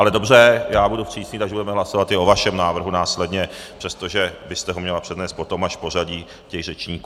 Ale dobře, já budu přísný, takže budeme hlasovat i o vašem návrhu následně, přestože byste ho měla přednést potom až v pořadí těch řečníků.